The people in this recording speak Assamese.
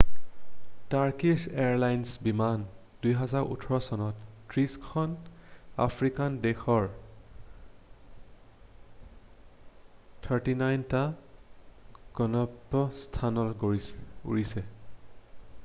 টাৰ্কিশ্ব এয়াৰলাইনৰ বিমান 2014 চনত 30 খন আফ্ৰিকান দেশৰ 39 টা গন্তব্য স্থানলৈ উৰিছে